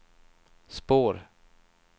spår